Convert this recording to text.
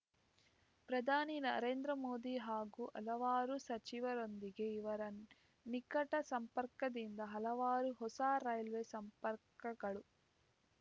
ಪ್ರಧಾನಿ ನರೇಂದ್ರ ಮೋದಿ ಹಾಗೂ ಹಲವಾರು ಸಚಿವರೊಂದಿಗೆ ಇರುವ ನಿಕಟ ಸಂಪರ್ಕದಿಂದ ಹಲವಾರು ಹೊಸ ರೈಲ್ವೆ ಸಂಪರ್ಕಗಳು